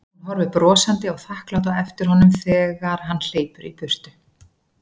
Hún horfir brosandi og þakklát á eftir honum þeg- ar hann hleypur í burtu.